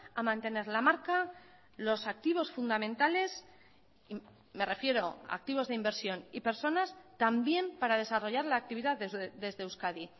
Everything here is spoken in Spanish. a mantener la marca los activos fundamentales me refiero activos de inversión y personas también para desarrollar la actividad desde euskadi